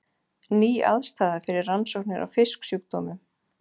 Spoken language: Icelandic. Ný aðstaða fyrir rannsóknir á fisksjúkdómum